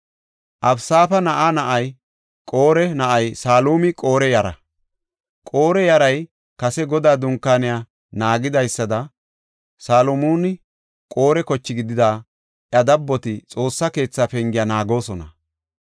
Abisaafa na7aa na7ay Qore na7ay Salumi Qore yara. Qore yaray kase Godaa Dunkaaniya naagidaysada Saluminne Qore koche gidida iya dabboti Xoossa keetha pengiya naagoosona.